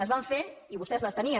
es van fer i vostès les tenien